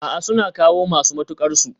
A'a, suna kawo masu mutuƙar su